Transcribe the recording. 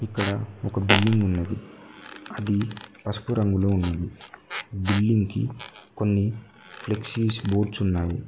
ఇక్కడ ఒక బిల్డింగ్ ఉన్నది అది పసుపు రంగులో ఉన్నది బిల్డింగ్ కి కొన్ని ఫ్లెక్సీస్ బోర్డ్స్ ఉన్నాయి.